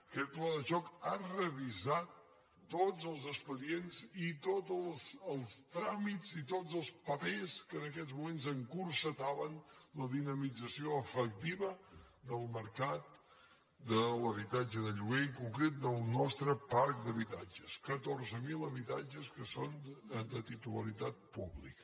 aquest pla de xoc ha revisat tots els expedients i tots els tràmits i tots els papers que en aquests moments encotillaven la dinamització efectiva del mercat de l’habitatge de lloguer i en concret del nostre parc d’habitatges catorze mil habitatges que són de titularitat pública